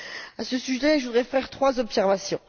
À ce sujet, je voudrais faire trois observations.